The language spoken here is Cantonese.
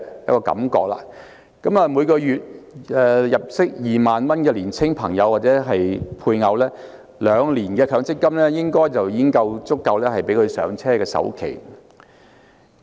以月入2萬元的年輕朋友或配偶而言，兩年強積金應已足夠支付"上車"的首期。